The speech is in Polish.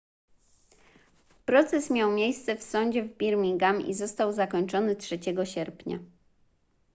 proces miał miejsce w sądzie w birmingham i został zakończony 3 sierpnia